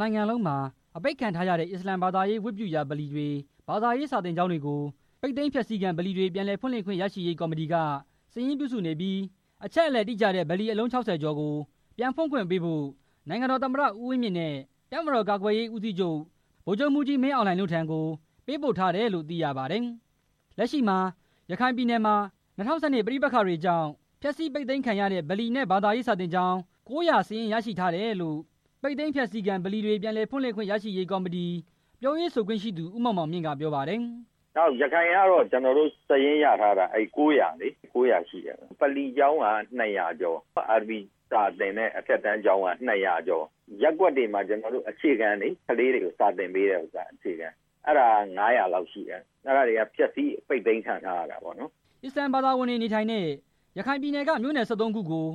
နိုင်ငံလုံးမှာ အပိတ်ခံထားရတဲ့ အစ္စလာမ်ဘာသာရေးဝတ်ပြု ဗလီတွေ၊ ဘာသာရေး စာသင်ကျောင်းတွေကို ပိတ်သိမ်းဖျက်ဆီးခံ ဗလီတွေပြန်ဖွင့်လှစ်ခွင့်ရရှိရေးကော်မတီက စာရင်းပြုစုနေပြီးတော့၊ အချက်အလက်တိကျတဲ့ ဗလီအလုံး ၆၀ ကျော်ကို ပြန်ဖွင့်ခွင့်ပေးဖို့ နိုင်ငံတော်သမ္မတ ဦးဝင်းမြင့်နဲ့ တပ်မတော် ကာကွယ်ရေးစစ်ဦးစီးချုပ် ဗိုလ်ချုပ်မှူးကြီး မင်းအောင်လှိုင်ထံကို ပေးပို့ထားတယ်လို့ သိရပါတယ်။ လက်ရှိမှာရခိုင်ပြည်နယ်မှာ ၂၀၁၂ ပဋိပက္ခတွေကြောင့် ဖျက်ဆီးပိတ်သိမ်းခံရတဲ့ ဗလီနဲ့ဘာသာရေး စာသင်ကျောင်း ၉၀၀ စာရင်း ရရှိထားတယ်လို့ ပိတ်သိမ်းဖျက်ဆီးခံပြန်လည်ဖွင့်လှစ်ခွင့်ရရှိရေး ကော်မတီ ပြောရေးဆိုခွင့်ရှိသူ ဦးမောင်မောင်မြင့် က ပြောပါတယ်။ “ရခိုင်ကတော့ ကျနော်တို့ စာရင်းရထားတာ ၉၀၀ ရှိတယ်ဗျ၊ ဗလီကျောင်းက ၂၀၀ ကျော်၊ အာရဗီစာသင်တဲ့ အထက်တန်းကျောင်းက ၂၀၀ ကျော်၊ ရပ်ကွက်တွေမှာ ကလေးတွေကို အခြေခံသင်ပေးတဲ့ကျောင်းက ၅၀၀ ကျော်ရှိတယ်၊ အဲဒါတွေက ဖျက်ဆီးပိတ်သိမ်းခံရတာတွေ” အစ္စလာမ်ဘာသာသာဝင်တွေနေထိုင်တဲ့ ရခိုင်ပြည်နယ်ထဲက မြို့နယ် ၁၃ ခုကို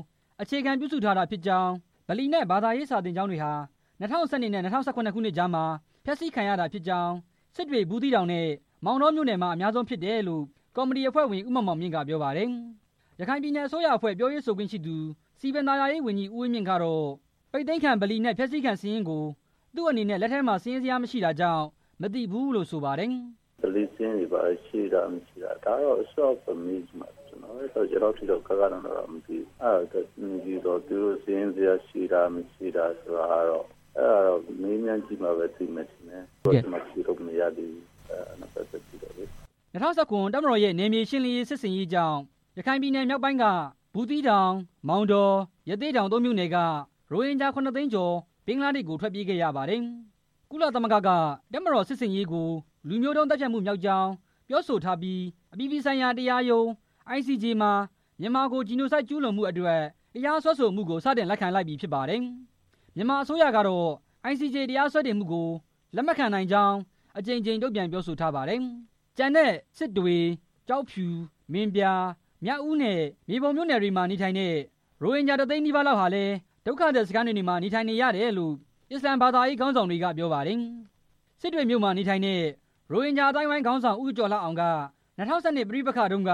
အခြေခံပြုစုထားတာဖြစ်ကြောင်း၊ ဗလီနဲ့ ဘာသာရေး စာသင်ကျောင်းတွေဟာ ၂၀၁၂ နဲ့ ၂၀၁၇ ခုနှစ်ကြားထဲမှာ ဖျက်ဆီးခံရတာဖြစ်ကြောင်း၊ စစ်တွေ၊ ဘူးသီးတောင်နဲ့ မောင်တောမြို့နယ်မှာ အများဆုံးဖြစ်တယ်လို့ ကော်မတီ အဖွဲ့ဝင် ဦးမောင်မောင်မြင့်က ပြောပါတယ်။ NLD က ခန့်အပ်ထားတဲ့ ရခိုင်ပြည်နယ်အစိုးရအဖွဲ့ ပြောရေးဆိုခွင့်ရှိသူ စည်ပင်သာယာရေး ဝန်ကြီး ဦးဝင်းမြင့်ကို မေးမြန်းတဲ့အခါ ပိတ်သိမ်းခံဗလီနဲ့ ဖျက်ဆီးခံစာရင်းကို သူ့အနေနဲ့ လက်ထဲမှာ စာရင်းဇယားမရှိတာကြောင့် မသိရှိဘူးလို့ ဆိုပါတယ်။ “ဗလီစာရင်းတွေ ဘယ်လောက်ရှိတယ်ဆိုတာ ကျနော်တော့ မသိဘူး၊ အဲဒါအစိုးရအဖွဲ့ မေးကြည့်မှသိမယ်၊ လောလောဆယ်တော့ ကျနော် ဖြေလို့မရသေးဘူး” ၂၀၁၇ တပ်မတော်ရှင်းလင်းရေး စစ်ဆင်ရေးကြောင့် ရခိုင်မြောက်ပိုင်းက အထူးသဖြင့် ဘူးသီးတောင်၊ မောင်တော၊ ရသေ့တောင် သုံးမြို့နယ် ရိုဟင်ဂျာ ခုနစ်သိန်းကျော် ဘင်္ဂလားဒေ့ရှ်ကို ထွက်ပြေးခဲ့ကြရပါတယ်။ ကုလသမဂ္ဂက တပ်မတော် စစ်ဆင်ရေးကို လူမျိုးတုံး သတ်ဖြတ်မှုမြောက်ကြောင်း ပြောဆိုထားပြီးတော့ အပြည်ပြည်ဆိုင်ရာ တရားရုံး ICJ မှာ မြန်မာကို Genocide ကျူးလွန်မှုအတွက် တရားစွဲဆိုမှုကို စတင်လိုက်ခံလိုက်ပြီဖြစ်ပါတယ်။ မြန်မာနိုင်ငံအစိုးရကတော့ ICJ တရားစွဲတင်မှုကို လက်မခံနိုင်ကြောင်း အကြိမ်ကြိမ် တုံ့ပြန်ပြောဆိုထားပါတယ်။ ကျန်တဲ့ စစ်တွေ၊ ကျောက်ဖြူ၊ မင်းပြား၊ မြောက်ဦးနဲ့ မြေပုံမြို့နယ်တွေမှာ နေထိုင်တဲ့ ရိုဟင်ဂျာ တစ်သိန်းနီး ပါးလောက်ဟာလည်း ဒုက္ခသည်စခန်းတွေမှာ နေထိုင်နေရတယ်လို့ အစ္စလာမ် ဘာသာရေးခေါင်းဆောင်တွေက ပြောပါတယ်။ စစ်တွေမြို့မှာနေထိုင်တဲ့ ရိုဟင်ဂျာအသိုင်းအဝိုင်း ခေါင်းဆောင် ဦးကျော်လှအောင်က ၂၀၁၂ ပဋိပက္ခတုန်းက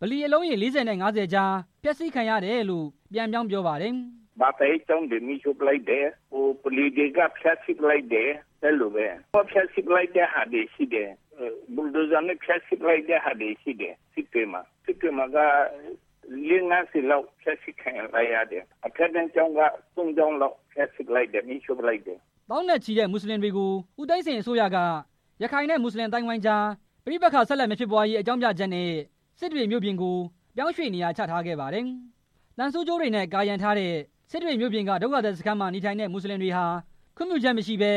ဗလီ အလုံးရေ ၄၀ နဲ့ ၅၀ ကြား ဖျက်ဆီးခံရတယ်လို့ ပြန်ပြောင်းပြောပြပါတယ်။ “ဘာသာရေးကျောင်းတွေ မီးရှို့လိုက်ပါတယ်၊ ဗလီတွေက ဖျက်ဆီးလိုက်ပါတယ်၊ အဲလိုပဲ လုံးဝဖျက်ဆီးလိုက် တာတွေရှိတယ်၊ ဘူဒိုဇာနဲ့ ဖျက်ဆီးလိုက်တာတွေရှိတယ်၊ စစ်တွေမှာ၊ စစ်တွေမှာက ဗလီ ၄၀၊ ၅၀ လောက် ဖျက်ဆီးခံလိုက်တယ်၊ အထက်တန်းကျောင်းက သုံးကျောင်းလောက် ဖျက်ဆီးလိုက်တယ် မီးရှို့လိုက်တယ်” သောင်းနဲ့ချီတဲ့ မွတ်စလင်တွေကို ဦးသိန်းစိန် အစိုးရက ရခိုင်နဲ့ မွတ်စလင် အသိုင်းအဝိုင်းကြား ပဋိပက္ခ ဆက်လက်မဖြစ်ပွားရေး အကြောင်းပြချက်နဲ့ စစ်တွေမြို့ပြင်မှာ ပြောင်းရွှေ့နေရာ ချထားခဲ့ပါတယ်။ သံဆူးကြိုးတွေနဲ့ ကာရံထားတဲ့ စစ်တွေမြို့ပြင်က ဒုက္ခသည်စခန်းမှာ နေထိုင်ကြတဲ့ မွတ်စလင်တွေဟာ ခွင့်ပြုချက်မရှိဘဲ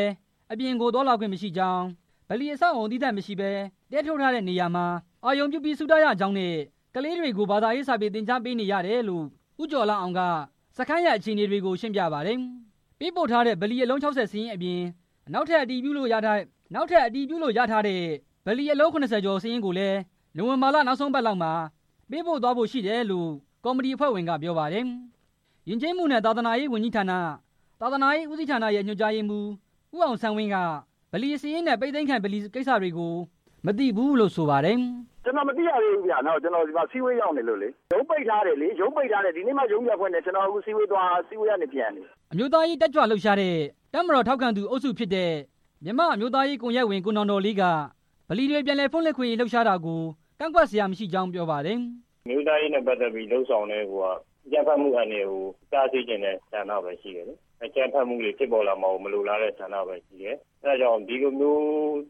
အပြင်ကိုသွားလာခွင့်မရှိကြောင်း၊ ဗလီအဆောက်အအုံ သီးသန့်မရှိဘဲ တဲထိုးတဲ့နေရာမှာ အာရုံပြုပြီး ဆုတောင်းရကြောင်းနဲ့ ကလေးတွေကို ဘာသာရေး စာပေသင်ကြားပေးတာရှိတယ်လို့ ဦးကျော်လှအောင်က စခန်းရဲ့အခြေအနေတွေကို ရှင်းပြပါတယ်။ ပေးပို့ထားတဲ့ ဗလီ အလုံး ၆၀ စာရင်းအပြင်၊ နောက်ထပ် အတည်ပြုလို့ရထားတဲ့ ဗလီအလုံး ၇၀ စာရင်းကိုလည်း နိုဝင်ဘာနောက်ဆုံးအပတ်လောက်မှာ ပေးပို့သွားဖို့ရှိတယ်လို့ ကော်မတီအဖွဲ့ဝင်က ပြောပါတယ်။ ယဉ်ကျေးမှုနဲ့ သာသနာရေးဝန်ကြီးဌာန သာသနာရေးဦးစီးဌာနရဲ့ ညွှန်ကြားရေးမှူး ဦးအောင်ဆန်းဝင်းက ဗလီစာရင်းနဲ့ ပိတ်သိမ်းခံဗလီကိစ္စတွေကို မသိဘူးလို့ ဆိုပါတယ်။ “ကျနော် မသိရသေးဘူးဗျ၊ ကျနော် အစည်းအဝေးရောက်နေလို့လေ၊ ရုံးပိတ်ထားတယ်လေ၊ ဒီနေ့ရုံးဖွင့်တော့ အစည်းအဝေးသွားပြီး ခုမှပြန်နေတာ” အမျိုးသားရေးတတ်ကြွလှုပ်ရှားတဲ့ တပ်မတော် ထောက်ခံသူ အုပ်စုဖြစ်တဲ့ မြန်မာအမျိုးရေး ကွန်ရက်အဖွဲ့ဝင်၊ ကိုနောင်တော်လေးက ဗလီတွေပြန်ဖွင့်လှစ်ရေး လှုပ်ရှားတာကို ကန့်ကွက်စရာမရှိကြောင်း ပြောပါတယ်။ “အမျိုးသားရေးနဲ့ ပတ်သက်ပြီ ဆိုတာကတည်းက အကြမ်းဖက်မှုကို တားဆီးချင်တဲ့ဆန္ဒပဲရှိတယ်၊ အကြမ်းဖက်မှုကို မလိုလားတာပဲရှိတယ်၊ အဲဒါကြောင့် ဒီလိုမျိုး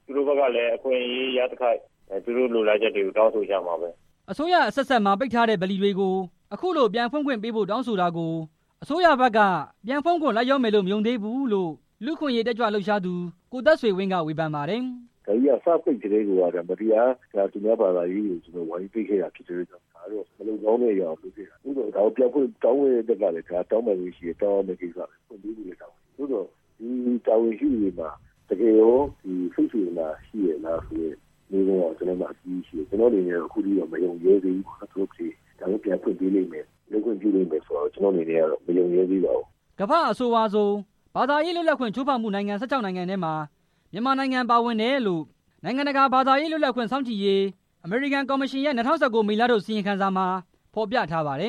သူတို့ဘက်ကလည်း အခွင့်ရေးရခိုက် သူတို့လိုလားချက်တွေကို တောင်းဆိုမှာပဲ” အစိုးရခေတ်အဆက်ဆက်မှာ ပိတ်ထားခဲ့တဲ့ ဗလီတွေကို အခုလို ပြန်ဖွင့်ခွင့်ပေးဖို့တောင်းဆိုတာကို အစိုးရဘက်က ပြန်ဖွင့်ဖို့လိုက်လျောမယ်လို့ မယုံသေးဘူးလို့ လူ့အခွင့်ရေးတက်ကြွလှုပ်ရှားသူ ကိုသက်ဆွေဝင်းက ဝေဖန်ပါတယ်။ “ဒါကြီးက စပိတ်ကတည်းကိုက မတရားသူများဘာသာကို ဝိုင်းပိတ်ခဲ့တာဖြစ်တဲ့အတွက်ကြောင့် မလုပ်ကောင်း တာကို လုပ်ခဲ့တာဖြစ်တယ်၊ ဒါကိုပြန်ဖွင့်ခွင့်ပေးဖို့ တောင်းတဲ့ကိစ္စကလည်း တောင်းပိုင်ခွင့်ရှိတဲ့ကိစ္စကို တောင်းတာဖြစ်တယ်၊ ဖွင့်ပေးဖို့လည်း တာဝန်ရှိတယ်၊ သို့သော် တာဝန်ရှိသူတွေမှာ တကယ်ရော စိတ်စေတနာ ရှိရဲ့လားဆိုတဲ့ မေးခွန်း ကျနော့်မှာ အကြီးကြီးရှိတယ်၊ ကျနော့်အနေနဲ့ အခုထိမယုံရဲသေးဘူးပေါ့၊ ပြန်ဖွင့်ခွင့်ပေး မယ်ဆိုတာကို မယုံရဲသေးပါဘူး” ကမ္ဘာမှာ အဆိုးဝါးဆုံး ဘာသာရေးလွတ်လပ်ခွင့် ချိုးဖောက်မှုနိုင်ငံ ၁၆ နိုင်ငံထဲမှာ မြန်မာနိုင်ငံ ပါဝင်တယ်လို့ USCIRF နိုင်ငံတကာဘာသာရေး လွတ်လပ်ခွင့်စောင့်ကြည့်ရေး အမေရိကန်ကော်မရှင်ရဲ့ ၂၀၁၉ ခုနှစ် မေလထုတ် အစီရင်ခံစာမှာ ဖော်ပြထားပါတယ